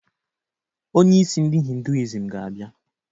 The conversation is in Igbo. Onyeisi ndi hinduism ga-abịa